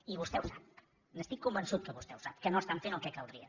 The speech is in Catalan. i vostè ho sap n’estic convençut que vostè ho sap que no estan fent el que caldria